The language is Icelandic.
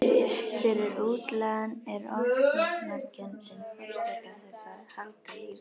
Fyrir útlagann er ofsóknarkenndin forsenda þess að halda lífi.